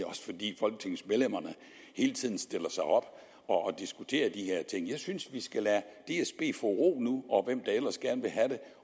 fordi folketingets medlemmer hele tiden stiller sig op og diskuterer de her ting jeg synes vi skal lade dsb få ro